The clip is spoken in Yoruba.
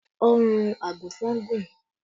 Ọrùn àgùnfọn gùn